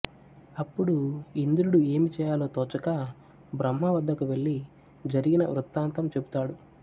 అప్పుడు ఇంద్రుడు ఏమి చేయాలో తోచక బ్రహ్మవద్దకు వెళ్ళి జరిగిన వృత్తాంతం చెబుతాడు